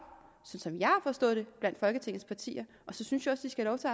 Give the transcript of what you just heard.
sådan som jeg har forstået det blandt folketingets partier og så synes jeg synes jeg også